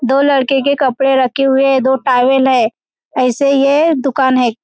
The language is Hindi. दो लड़के के कपड़े रखे हुए हैं दो टावेल है ऐसे ये दुकान है।